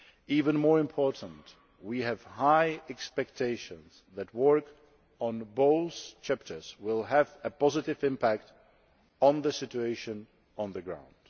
whole. Even more importantly, we have high expectations that work on both chapters will have a positive impact on the situation on the ground.